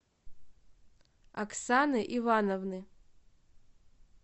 оксаны ивановны